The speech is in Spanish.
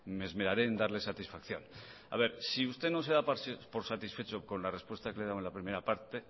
me esmeraré en darle satisfacción si usted no se da por satisfecho con la respuesta que le he dado en la primera parte